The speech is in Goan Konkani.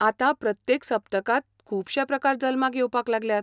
आतां प्रत्येक सप्तकांत खुबशें प्रकार जल्माक येवपाक लागल्यात.